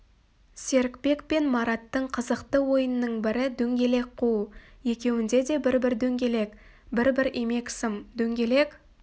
серікбек пен мараттың қызықты ойынының бірі дөңгелек қуу екеуінде де бір-бір дөңгелек бір-бір имек сым дөңгелек